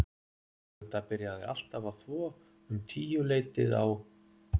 Magda byrjaði alltaf að þvo um tíuleytið á